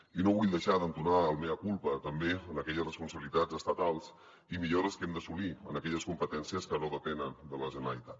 i no vull deixar d’entonar el mea culpa també en aquelles responsabilitats estatals i millores que hem d’assolir en aquelles competències que no depenen de la generalitat